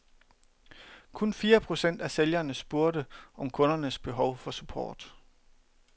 Kun fire procent af sælgerne spurgte om kundens behov for support.